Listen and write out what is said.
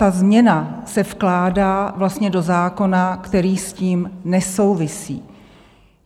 Ta změna se vkládá vlastně do zákona, který s tím nesouvisí.